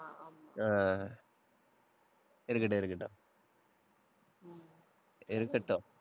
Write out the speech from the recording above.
அஹ் இருக்கட்டும், இருக்கட்டும் இருக்கட்டும்.